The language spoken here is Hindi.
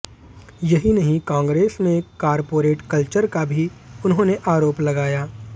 यही नहीं कांग्रेस में कॉरपोरेट कल्चर का भी उन्होंने आरोप लगाया